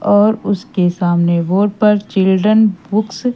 और उसके सामने बोर्ड पर चिल्ड्रन बुक्स --